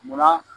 Munna